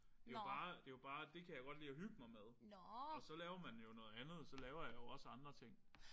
Det jo bare det jo bare det kan jeg godt lide at hygge mig med. Og så laver man jo noget andet. Så laver jeg jo også andre ting